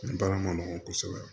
Baara ma nɔgɔn kosɛbɛ